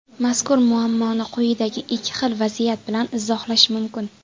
Mazkur muammoni quyidagi ikki xil vaziyat bilan izohlash mumkin.